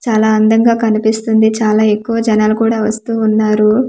చాలా అందంగా కనిపిస్తుంది చాలా ఎక్కువ జనాలు కూడా వస్తూ ఉన్నారు.